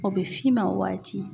O bɛ f'i ma waati.